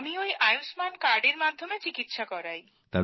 আমি ওই আয়ুষ্মান কার্ডের মাধ্যমে চিকিৎসা করাই